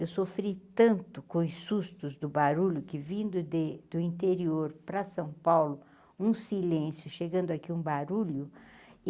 Eu sofri tanto com os sustos do barulho que vindo do interior para São Paulo, um silêncio chegando aqui, um barulho.